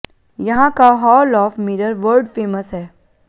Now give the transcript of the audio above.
यहां का hall of mirror world famous है